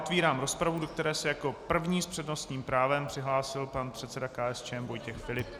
Otevírám rozpravu, do které se jako první s přednostním právem přihlásil pan předseda KSČM Vojtěch Filip.